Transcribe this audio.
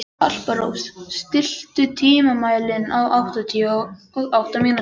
Alparós, stilltu tímamælinn á áttatíu og átta mínútur.